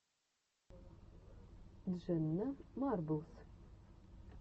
дженна марблс